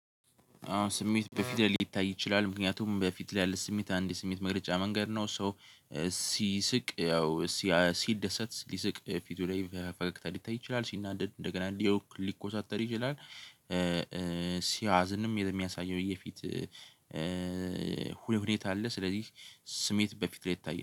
አሁን ስሜት በፊት ላይ ሊታይ ይችላል። ምክንያቱም በፊት ላይ ያለ ስሜት አንድ የስሜት መግለጫ መንገድ ነው። ሰው ሲስቅ ያው ሲደሰት ሊስቅ ፊቱ ላይ ፈገግታ ሊታይ ይችላል። ሲናደድ እንደገና ሊያውቅ ሊኮሳተር ይችላል ሲያዝንም የሚያሳየው የፊት ሁኔታ አለ። ስለዚህ ስሜት በፊት ላይ ይታያል።